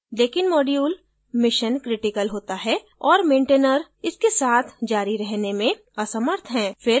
लेकिन module missioncritical होता है और maintainer इसके साथ जारी रहने में असमर्थ है फिर हम मुसीबत में हो सकते हैं